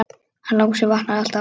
Hann Lási vaknar alltaf aftur.